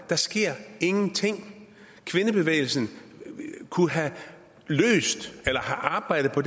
der sker ingenting kvindebevægelsen kunne have arbejdet på